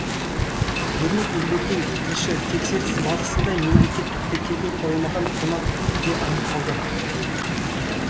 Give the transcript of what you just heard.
ермек елберген тілші тексеріс барысында мемлекеттік тіркеуге қойылмаған қонақүй де анықталды